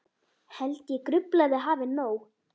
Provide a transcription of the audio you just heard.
Held ég gruflað hafi nóg.